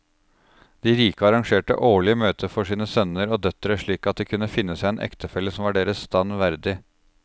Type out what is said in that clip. De rike arrangerte årlige møter for sine sønner og døtre slik at de kunne finne seg en ektefelle som var deres stand verdig.